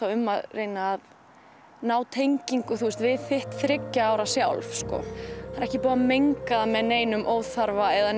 um að ná tengingu við þitt þriggja ára sjálf það er ekki búið að menga það með neinum óþarfa eða